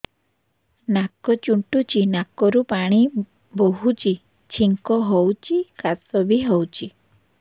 ନାକ ଚୁଣ୍ଟୁଚି ନାକରୁ ପାଣି ବହୁଛି ଛିଙ୍କ ହଉଚି ଖାସ ବି ହଉଚି